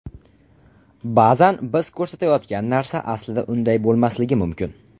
Ba’zan biz ko‘rayotgan narsa aslida unday bo‘lmasligi mumkin.